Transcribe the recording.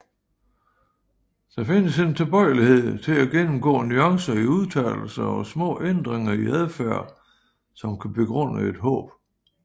Der findes en tilbøjelighed til at gennemgå nuancer i udtalelser og små ændringer i adfærd som kan begrunde et håb